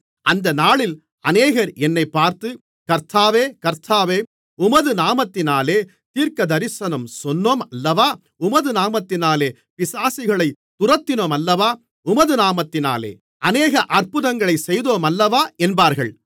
அந்த நாளில் அநேகர் என்னைப் பார்த்து கர்த்தாவே கர்த்தாவே உமது நாமத்தினாலே தீர்க்கதரிசனம் சொன்னோம் அல்லவா உமது நாமத்தினாலே பிசாசுகளைத் துரத்தினோம் அல்லவா உமது நாமத்தினாலே அநேக அற்புதங்களைச் செய்தோம் அல்லவா என்பார்கள்